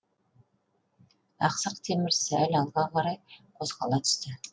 ақсақ темір сәл алға қарай қозғала түсті